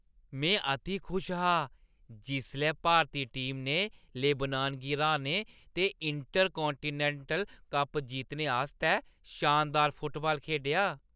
मैं अति खुश हा जिसलै भारती टीम ने लेबनान गी हराने ते इंटरकांटिनैंटल कप जित्तने आस्तै शानदार फुटबाल खेढेआ।